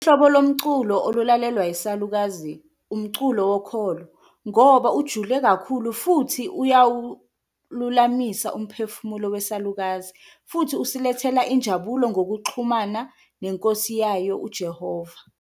Uhlobo lomculo olulalelwa yisalukazi umculo wokholo ngoba ujule kakhulu futhi uyawululamisa umphefumulo wesalukazi, futhi usilethela injabulo ngokuxhumana neNkosi yayo uJehova.